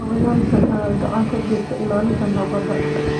Xayawaankan ayaa gacan ka geysta ilaalinta nabadda.